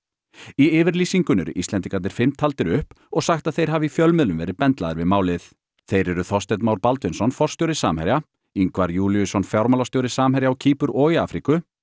í yfirlýsingunni eru Íslendingarnir fimm taldir upp og sagt að þeir hafi í fjölmiðlum verið bendlaðir við málið þeir eru Þorsteinn Már Baldvinsson forstjóri Samherja Ingvar Júlíusson fjármálastjóri Samherja á Kýpur og í Afríku